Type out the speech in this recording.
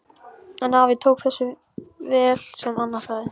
En afi tók þessu vel sem Anna sagði.